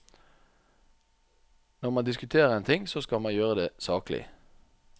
Når man diskuterer en ting, så skal man gjøre det saklig.